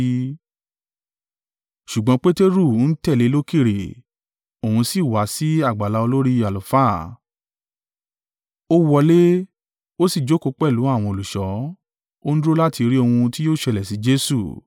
Ṣùgbọ́n Peteru ń tẹ̀lé e lókèèrè. Òun sì wá sí àgbàlá olórí àlùfáà. Ó wọlé, ó sì jókòó pẹ̀lú àwọn olùṣọ́. Ó ń dúró láti ri ohun tí yóò ṣẹlẹ̀ sí Jesu.